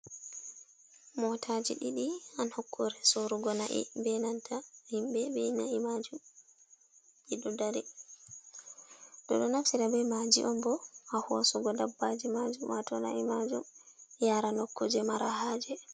Motaji ɗiɗi ha nukkure sorugo na'i be nanta himɓe be na'i majum ɓeɗo dari. Ɓeɗo naftira be maaji on bo ha hosugo dabbaji majum wato na'i majum yara nukkoje mara haje.